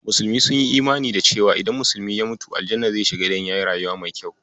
Musulmai sun yi imani da cewa idan musulmi ya mutu, aljanna zai tafi idan yayi rayuwa mai kyau.